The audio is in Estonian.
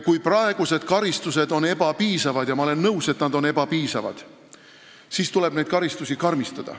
Kui praegused karistused on ebapiisavad – ja ma olen nõus, et need on ebapiisavad –, siis tuleb karistusi karmistada.